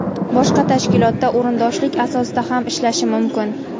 boshqa tashkilotda o‘rindoshlik asosida ham ishlashi mumkin.